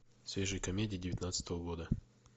свежие комедии девятнадцатого года